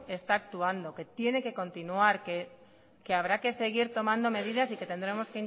se está actuando que tiene que continuar que habrá que seguir tomando medidas y que tendremos